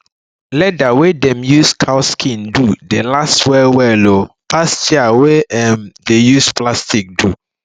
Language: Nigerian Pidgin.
leather wey dem use strong cow skin do dey last well well um pass chair wey um dem use plastic do